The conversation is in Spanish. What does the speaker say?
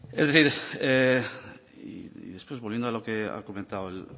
volviendo a lo que ha comentado el